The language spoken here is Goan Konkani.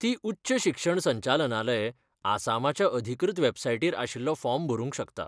ती उच्च शिक्षण संचालनालय, आसामाच्या अधिकृत वॅबसायटीर आशिल्लो फॉर्म भरूंक शकता.